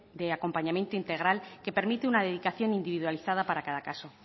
de acompañamiento integral que permite una dedicación individualizada para cada caso